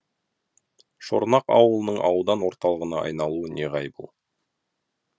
шорнақ ауылының аудан орталығына айналуы неғайбыл